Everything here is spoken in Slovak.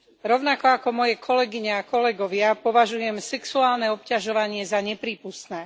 Rovnako ako moje kolegyne a kolegovia považujem sexuálne obťažovanie za neprípustné.